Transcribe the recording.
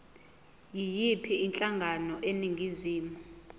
yiyiphi inhlangano eningizimu